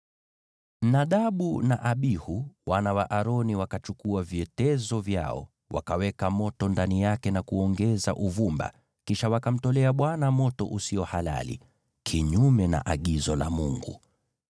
Nadabu na Abihu, wana wa Aroni, wakachukua vyetezo vyao, wakaweka moto ndani yake na kuongeza uvumba; kisha wakamtolea Bwana moto usio halali, kinyume na agizo la Mungu.